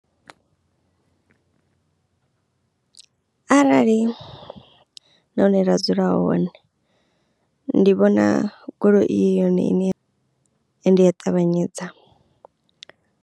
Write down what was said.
Arali nahone ra dzula hone ndi vhona goloi i yone ine ende ya ṱavhanyedza.